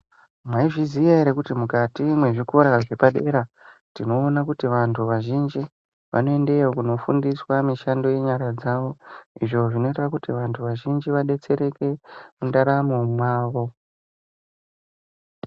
Mwaizviziye ere kuti mukati mezvikora zvepadera, tinoone kuti vantu vazhinji vanoendeyo kunofundiswa mishando yenyara dzavo izvo zvinoita kuti vantu vazhinji vadetsereke mundaramo mavo.